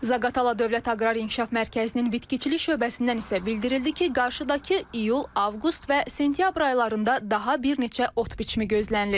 Zaqatala Dövlət Aqrar İnkişaf Mərkəzinin bitkiçilik şöbəsindən isə bildirildi ki, qarşıdakı iyul, avqust və sentyabr aylarında daha bir neçə ot biçimi gözlənilir.